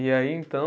E aí, então